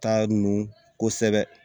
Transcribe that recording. Taa nu kosɛbɛ